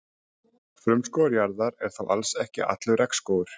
Frumskógur jarðar er þó alls ekki allur regnskógur.